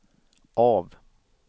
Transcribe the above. av